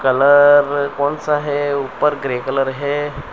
Colour कौन सा है ऊपर ग्रे कलर है।